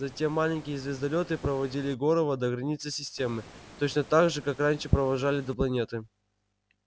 затем маленькие звездолёты проводили горова до границы системы точно так же как раньше провожали до планеты